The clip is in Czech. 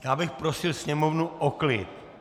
Já bych prosil Sněmovnu o klid!